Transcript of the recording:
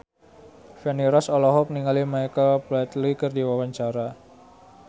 Feni Rose olohok ningali Michael Flatley keur diwawancara